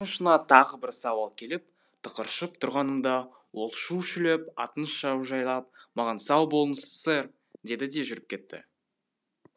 тілімнің ұшына тағы бір сауал келіп тықыршып тұрғанымда ол шу шулеп атын шаужайлап маған сау болыңыз сэр деді де жүріп кетті